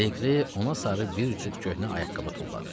Legri ona sarı bir cüt köhnə ayaqqabı tulladı.